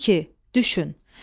2. Düşün.